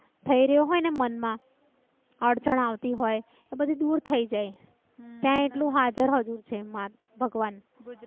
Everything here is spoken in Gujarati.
થઈ રહ્યો હોય ને મન માં. અડચણ આવતી હોય તો બધી દૂર થઇ જાય ત્યાં એટલું હાજર હજૂર છે. માં ભગવાન.